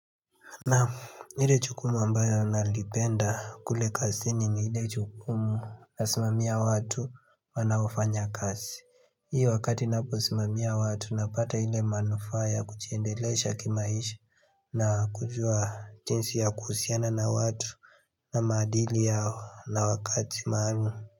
Naam. Lile jukumu ambayo nalipenda kule kazini ni iile jukumu nasimamia watu wanaofanya kazi. Hii wakati napo simamia watu napata ile manufa ya kujiendelesha kimaisha na kujua jinsi ya kuhusiana na watu na madili yao na wakati maanu.